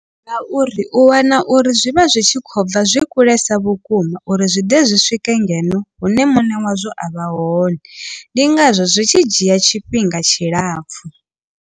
Ngauri u wana uri zwi vha zwi tshi khou bva zwi kulesa vhukuma uri zwi ḓe zwi swike ngeno hune muṋe wazwo a vha hone ndi ngazwo zwi tshi dzhia tshifhinga tshilapfhu.